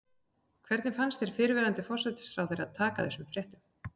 Hvernig fannst þér fyrrverandi forsætisráðherra taka þessum fréttum?